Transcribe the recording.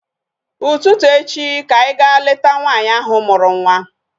Ụtụtụ echi ka anyị ga leta nwaanyị ahụ mụrụ nwa